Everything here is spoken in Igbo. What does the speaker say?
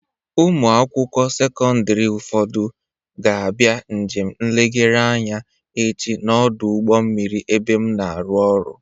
Ụmụ akwụkwọ sekọndịrị ụfọdụ ga-abịa njem nlegharị anya echi n'ọdụ ụgbọ mmiri ebe m na-arụ ọrụ.